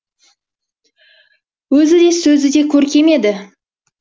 өзі де сөзі де көркем еді